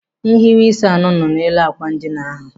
Nhiweisi anọ nọ n'elu àkwà ndina ahụ.